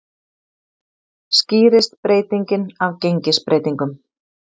Skýrist breytingin af gengisbreytingum